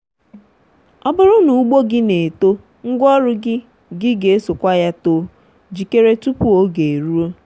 ọ bụrụ na ugbo gị na-eto ngwaọrụ gị gị ga-esokwa ya too. jikere tupu oge eruo.